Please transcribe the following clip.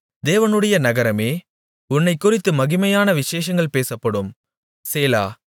தேவனுடைய நகரமே உன்னைக் குறித்து மகிமையான விசேஷங்கள் பேசப்படும் சேலா